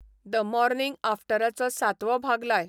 the morning आफ्टराचो सातवो भाग लाय